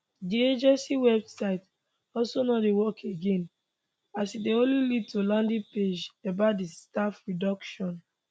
di agency website also no dey work again as e dey only lead to landing page about di staff reduction